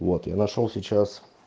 вот и нашёл сейчас